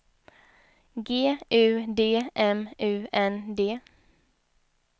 G U D M U N D